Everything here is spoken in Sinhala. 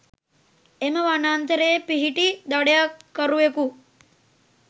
එම වනාන්තරයේ පිහිටි දඩයක්කරුවකු